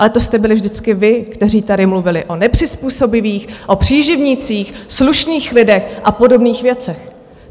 Ale to jste byli vždycky vy, kteří tady mluvili o nepřizpůsobivých, o příživnících, slušných lidech a podobných věcech.